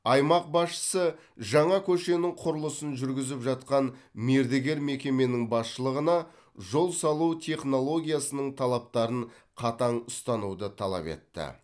аймақ басшысы жаңа көшенің құрылысын жүргізіп жатқан мердігер мекеменің басшылығына жол салу технологиясының талаптарын қатаң ұстануды талап етті